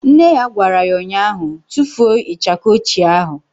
Nne ya gwara ya ụnyaahụ " Tufuo ịchaka ochie ahụ"!